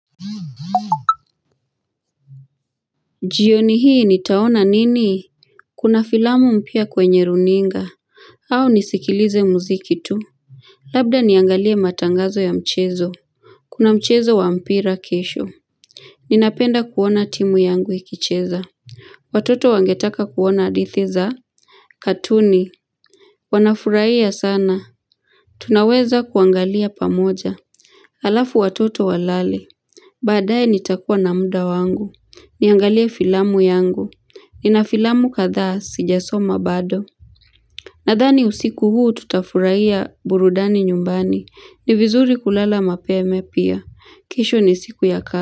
Jioni hii nitaona nini? Kuna filamu mpya kwenye runinga au nisikilize muziki tu Labda niangalie matangazo ya mchezo Kuna mchezo wa mpira kesho Ninapenda kuona timu yangu ikicheza Watoto wangetaka kuona hadithi za katuni Wanafurahia sana Tunaweza kuangalia pamoja Alafu watoto walale Baadae nitakuwa na muda wangu Niangalie filamu yangu. Nina filamu kadha sijasoma bado. Nadhani usiku huu tutafurahia burudani nyumbani. Ni vizuri kulala mapema pia. Kesho ni siku ya kazi.